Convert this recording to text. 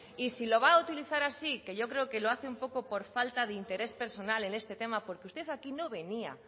y si lo va a utilizar así que yo creo que lo hace un poco por falta de interés personal en este tema porque usted aquí no venía